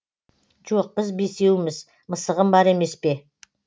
жоқ біз бесеуміз мысығым бар емес пе